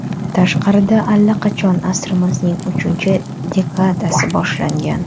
Tashqarida allaqachon asrimizning uchinchi dekadasi boshlangan.